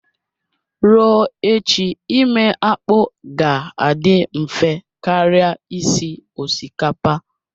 Ruo echi ime akpu ga-adị mfe karịa isi osikapa